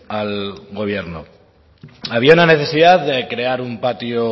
al gobierno había una necesidad de crear un patio